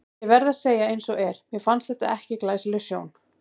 Ég verð nú að segja eins og er, að mér fannst þetta ekki glæsileg sjón.